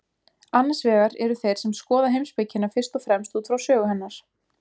Annars vegar eru þeir sem skoða heimspekina fyrst og fremst út frá sögu hennar.